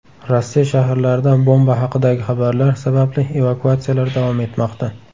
Rossiya shaharlarida bomba haqidagi xabarlar sababli evakuatsiyalar davom etmoqda.